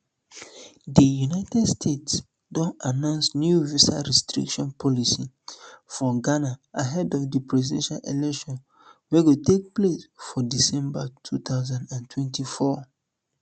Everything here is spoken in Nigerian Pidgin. di united states don announce new visa restriction policy for ghana ahead of di presidential election wey go take place for december two thousand and twenty-four